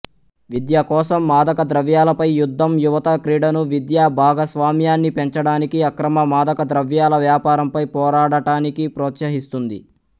విద్య కోసం మాదకద్రవ్యాలపై యుద్ధం యువత క్రీడను విద్యా భాగస్వామ్యాన్ని పెంచడానికి అక్రమ మాదకద్రవ్యాల వ్యాపారంపై పోరాడటానికి ప్రోత్సహిస్తుంది